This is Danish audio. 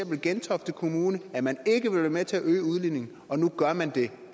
gentofte kommune at man ikke vil være med til at øge udligningen og nu gør man det